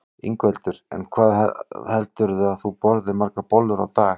Ingveldur: En hvað heldurðu að þú borðir margar bollur í dag?